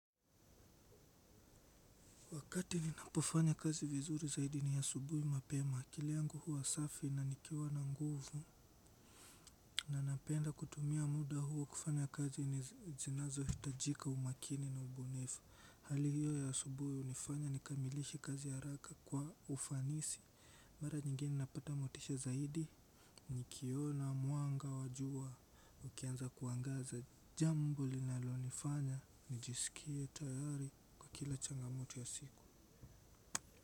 Wakati ninapofanya kazi vizuri zaidi ni asubuhi mapema. Akili yangu huwa safi na nikiwa na nguvu na napenda kutumia muda huo kufanya kazi zinazohitajika umakini na ubunifu. Hali hiyo ya asubuhi hunifanya nikamilishe kazi haraka kwa ufanisi. Mara nyingine napata motisha zaidi, nikiona, mwanga, wa jua, ukianza kuangaza, jambo linalonifanya, nijisikie tayari kwa kila changamoto ya siku.